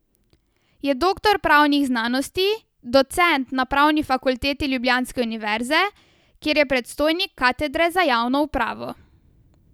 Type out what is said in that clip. Je doktor pravnih znanosti, docent na pravni fakulteti ljubljanske univerze, kjer je predstojnik katedre za javno upravo.